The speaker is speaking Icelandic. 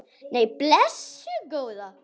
Nei, blessuð góða.